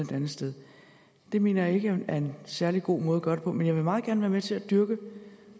det andet sted det mener jeg ikke er en særlig god måde at gøre det på men jeg vil meget gerne være med til at dyrke